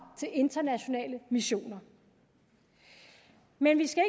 til internationale missioner men vi skal